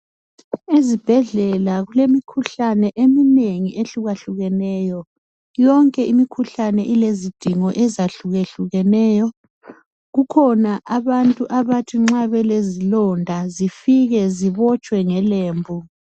Izibhedlela kulemikhuhlane eminengi ehlukeneyo. Yonke imikhuhlane ilezidingo ezihlukehlukeneyo. Kukhona abantu abathi bengafika belezilonda zifike zibotshwe ngelembu.